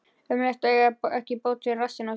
Ömurlegt að eiga ekki bót fyrir rassinn á sér.